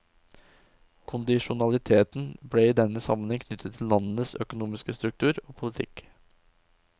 Kondisjonaliteten ble i denne sammenheng knyttet til landenes økonomiske struktur og politikk.